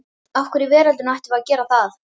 Af hverju í veröldinni ættum við að gera það?